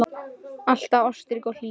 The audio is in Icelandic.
Alltaf ástrík og hlý.